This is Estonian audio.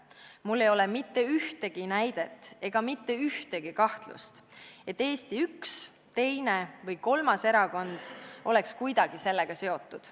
Mul ei ole mitte ühtegi näidet, ega mitte ühtegi kahtlust, et Eesti üks, teine või kolmas erakond oleks kuidagi sellega seotud.